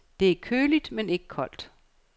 Det er køligt, men ikke koldt.